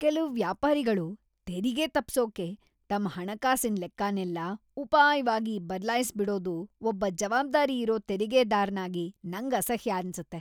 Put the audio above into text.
ಕೆಲ್ವು ವ್ಯಾಪಾರಿಗಳು ತೆರಿಗೆ ತಪ್ಸೋಕೆ ತಮ್ ಹಣಕಾಸಿನ್‌ ಲೆಕ್ಕನೆಲ್ಲ ಉಪಾಯ್ವಾಗಿ ಬದ್ಲಾಯ್ಸ್‌ಬಿಡೋದು ಒಬ್ಬ ಜವಾಬ್ದಾರಿ ಇರೋ ತೆರಿಗೆದಾರ್‌ನಾಗಿ ನಂಗ್ ಅಸಹ್ಯ ಅನ್ಸತ್ತೆ.